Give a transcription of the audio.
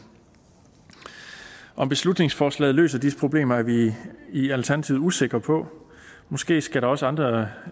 om beslutningsforslaget løser disse problemer er vi i alternativet usikre på måske skal der også andre